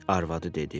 arvadı dedi.